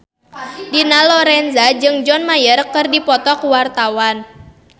Dina Lorenza jeung John Mayer keur dipoto ku wartawan